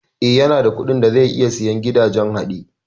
Eh, yanada kuɗin da zai iya sayen gidajen haɗe